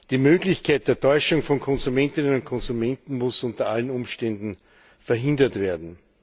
Die Möglichkeit der Täuschung von Konsumentinnen und Konsumenten muss unter allen Umständen verhindert werden.